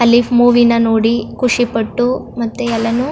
ಅಲ್ಲಿ ಮೂವಿನ ನೋಡಿ ಖುಷಿಪಟ್ಟು ಮತ್ತೆ ಎಲ್ಲಾನು --